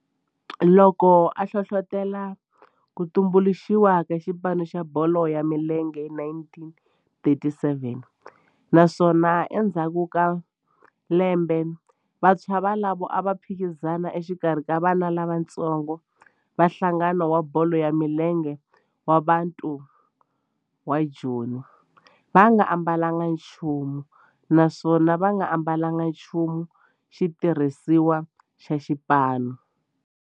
Loko a hlohlotela ku tumbuluxiwa ka xipano xa bolo ya milenge hi 1937 naswona endzhaku ka lembe vantshwa volavo a va phikizana exikarhi ka vana lavatsongo va nhlangano wa bolo ya milenge wa Bantu wa Joni va nga ambalanga nchumu naswona va nga ambalanga nchumu xitirhisiwa xa xipano.